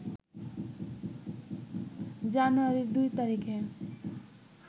জানুয়ারি ২ তারিখে